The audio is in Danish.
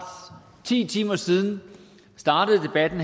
ti timer siden startede debatten